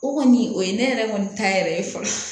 O kɔni o ye ne yɛrɛ kɔni ta yɛrɛ ye fɔlɔ